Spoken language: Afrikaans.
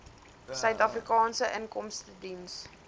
suid afrikaanse inkomstediens